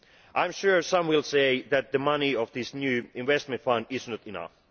I am sure some will say that the money of this new investment fund is not enough.